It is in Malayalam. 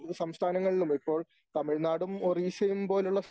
സംസ്ഥാനങ്ങളിലും ഇപ്പോൾ തമിഴ്നാടും ഒറീസയും പോലുള്ള